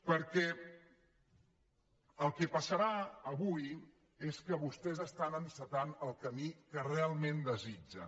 perquè el que passarà avui és que vostès estan encetant el camí que realment desitgen